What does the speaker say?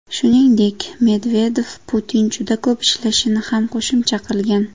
Shuningdek, Medvedev Putin juda ko‘p ishlashini ham qo‘shimcha qilgan.